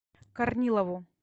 корнилову